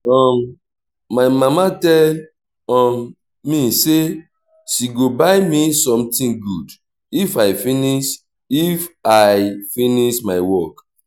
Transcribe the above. um my mama tell um me say she go buy me something good if i finish if i finish my work